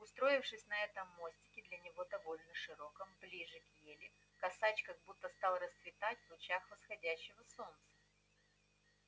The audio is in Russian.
устроившись на этом мостике для него довольно широком ближе к ели косач как будто стал расцветать в лучах восходящего солнца